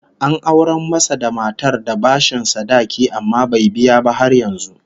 An aurar masa da matar da bashin sadaki, amma bai biya ba har yanzu